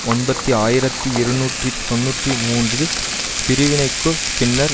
ஒன்பத்தி ஆயிரத்தி இருநூற்றி தொன்னூற்றி மூன்றில் பிரிவினைக்குப் பின்னர்